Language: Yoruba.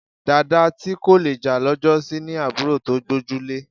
Dàda tí kò le jà lọ́jọ́sí ní àbúrò tó gbójúlé